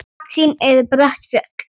Í baksýn eru brött fjöll.